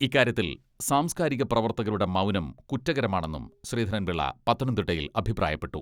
ഇക്കാര്യത്തിൽ സാംസ്കാരിക പ്രവർത്തകരുടെ മൗനം കുറ്റകരമാണെന്നും ശ്രീധരൻപിളള പത്തനംതിട്ടയിൽ അഭിപ്രായപ്പെട്ടു.